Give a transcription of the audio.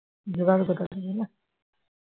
ভোগারে কোথায়